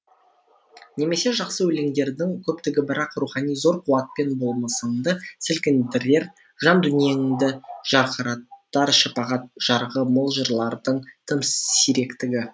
немесе жақсы өлеңдердің көптігі бірақ рухани зор қуатпен болмысыңды сілкіндірер жан дүниеңді жарқыратар шапағат жарығы мол жырлардың тым сиректігі